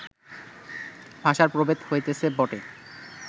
ভাষার প্রভেদ হইতেছে বটে